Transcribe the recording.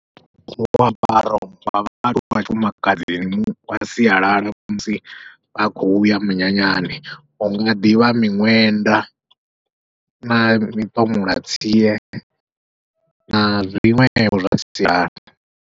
Muambaro wa vhaaluwa vha tshifumakadzini wa sialala musi vha khou ya munyanyani, hunga ḓivha miṅwenda na miṱomolatsie na zwiṅwevho zwa sialala.